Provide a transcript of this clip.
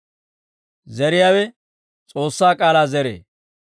Zeriyaawe S'oossaa k'aalaa zeree.